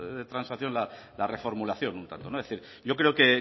de transacción la reformulación yo creo que